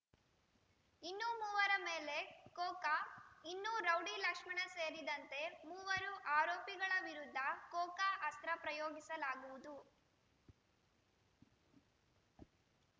ಇನ್ನು ಮೂವರ ಮೇಲೆ ಕೋಕಾ ಇನ್ನು ರೌಡಿ ಲಕ್ಷ್ಮಣ ಸೇರಿದಂತೆ ಮೂವರು ಆರೋಪಿಗಳ ವಿರುದ್ಧ ಕೋಕಾ ಅಸ್ತ್ರ ಪ್ರಯೋಗಿಸಲಾಗುವುದು